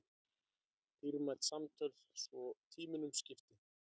Dýrmæt samtöl svo tímunum skipti.